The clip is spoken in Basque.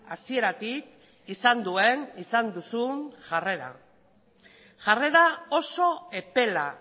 hasieratik izan duen izan duzun jarrera jarrera oso epela